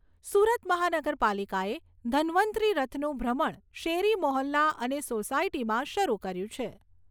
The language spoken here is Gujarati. સુરત મહાનગરપાલિકાએ ધન્વંતરિ રથનું ભ્રમણ શેરી મોહલ્લા અને સોસાયટીમાં શરૂ કર્યું છે.